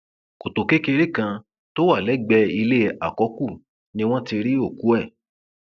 kọtò kékeré kan tó wà lẹgbẹẹ ilé àkọkù ni wọn ti rí òkú ẹ